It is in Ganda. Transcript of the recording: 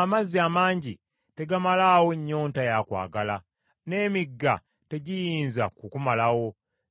Amazzi amangi tegamalaawo nnyonta ya kwagala n’emigga tegiyinza kukumalawo.